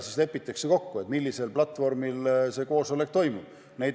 Lepitakse kokku, millisel platvormil koosolek toimub.